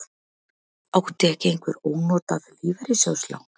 Átti ekki einhver ónotað lífeyrissjóðslán?